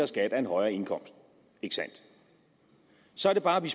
skat af en højere indkomst så er det bare vi